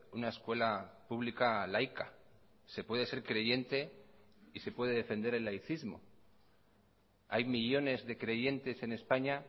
una escuela pública laica se puede ser creyente y se puede defender el laicismo hay millónes de creyentes en españa